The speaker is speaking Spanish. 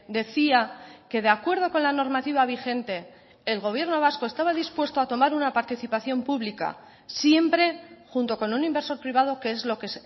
decía que de acuerdo con la normativa vigente el gobierno vasco estaba dispuesto a tomar una participación pública siempre junto con un inversor privado que es lo que